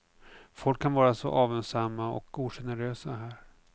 Folk kan vara så avundsamma och ogenerösa här.